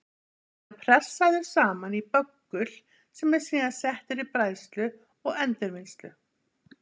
Þá er hann pressaður saman í böggul sem er síðan settur í bræðslu og endurvinnslu.